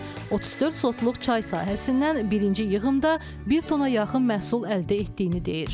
34 sotluq çay sahəsindən birinci yığımda bir tona yaxın məhsul əldə etdiyini deyir.